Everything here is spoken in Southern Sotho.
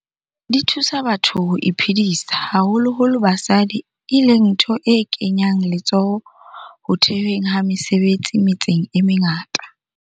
Di thusa batho ho iphedisa, haholo holo basadi, e leng ntho e kenyang letsoho ho the hweng ha mesebetsi metseng e mengata.